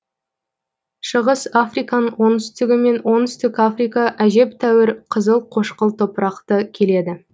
шығыс африканың оңтүстігі мен оңтүстік африка әжептәуір қызыл қошқыл топырақты келеді